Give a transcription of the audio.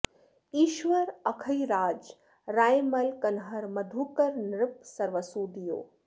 ईश्वर अखैराज रायमल कन्हर मधुकर नृप सर्वसु दियो